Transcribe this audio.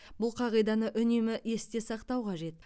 бұл қағиданы үнемі есте сақтау қажет